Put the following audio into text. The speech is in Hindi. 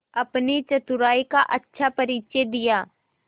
अपनी चतुराई का अच्छा परिचय दिया